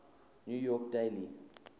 new york daily